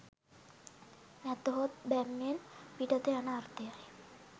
නැතහොත් බැම්මෙන් පිටත යන අර්ථය යි